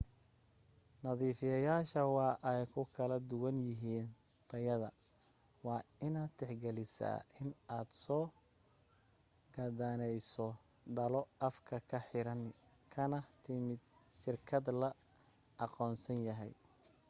nadiifiyayaasha waa ay ku kal duwan yihiin tayada waa inaad tixgelisaa in aad soo gadaneyso dhalo afka ka xiran kana timid shirkad la aqoonsan yahay